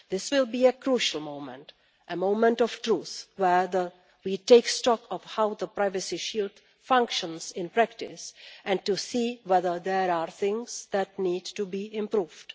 This will be a crucial moment a moment of truth where we take stock of how the privacy shield functions in practice and to see whether there are things that need to be improved.